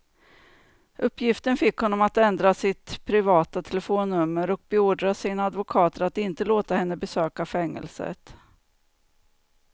Uppgiften fick honom att ändra sitt privata telefonnummer och beordra sina advokater att inte låta henne besöka fängelset.